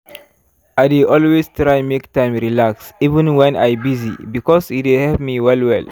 i dey always try make time relax even wen i busy because e dey help me well well.